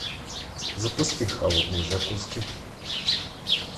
запусти холодные закуски